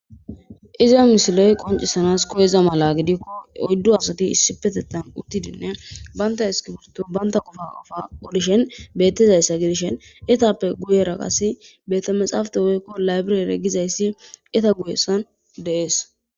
iza misiley qoncisanas koyeza mala gidikko oyddu asati issipetettan uttidinne baynta eskiburto baynta qofa qofa odishen bettizayssa gidishen etappe guyera qasi betta maxaafate woykko laybirere gizayssi eta guyessan deees